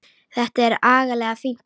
Þetta er agalega fínt fólk.